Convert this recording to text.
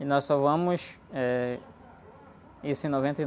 E nós só vamos, eh, isso em noventa e